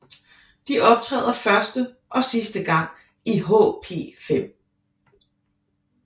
De optræder første og sidste gang i HP5